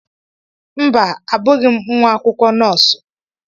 Mba, abụghị m nwa akwụkwọ nọọsụ.